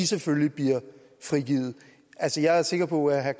selvfølgelig bliver frigivet jeg er sikker på at herre